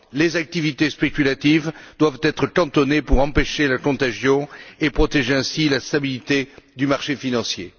Les activités spéculatives doivent être cantonnées pour empêcher la contagion et protéger ainsi la stabilité du marché financier.